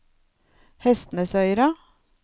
Hestnesøyra